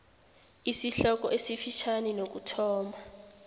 isihloko esifitjhani nokuthoma